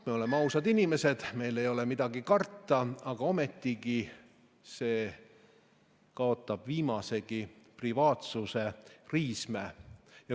Me oleme ausad inimesed, meil ei ole midagi karta, ometi see kaotab viimasegi privaatsuse riisme.